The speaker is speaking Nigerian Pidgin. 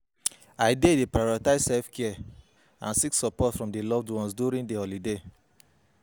I dey dey prioritize self-care and seek support from loved ones during di holidays.